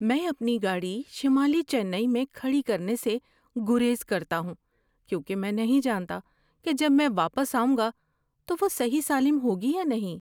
میں اپنی گاڑی شمالی چنئی میں کھڑی کرنے سے گریز کرتا ہوں کیونکہ میں نہیں جانتا کہ جب میں واپس آؤں گا تو وہ صحیح سالم ہوگی یا نہیں۔